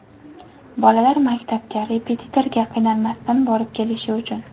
Bolalar maktabga, repetitorga qiynalmasdan borib kelishi uchun.